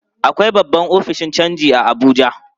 Akwai babban ofishin canji a Abuja.